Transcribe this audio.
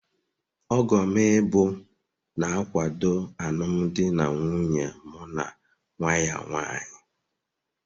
Ọgom ịbụ, na-akwado alụmdi na nwunye mụ na nwa ya nwanyị.